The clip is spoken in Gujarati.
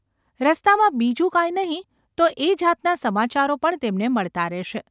રસ્તામાં બીજું કાંઈ નહિ તો એ જાતના સમાચારો પણ તેમને મળતા રહેશે.